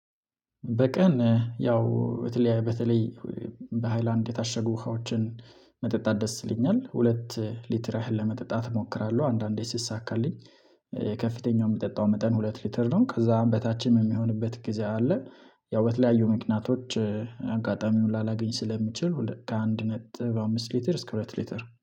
በቀን ያው በተለይ በሃይላንድ የታሸጉ ውሃዎችን መጠጣት ደስ ይለኛል ሁለት ሊትር ያህል ለመጠጣት እሞክራለሁ አንዳንዴ ስሳካልኝ ከፍተኛው የምጠጣው መጠን ሁለት ሊትር ነው። ከዛም በታችም የሚሆንበት ጊዜ አለ። ያው በተለያዩ ምክንያቶች አጋጣሚውን ላላገኝ ስለምችል ከአንድ ነጥብ አምስት ሊትር እስከ ሁለት ሊትር